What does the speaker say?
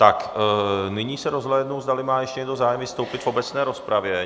Tak nyní se rozhlédnu, zdali má ještě někdo zájem vystoupit v obecné rozpravě.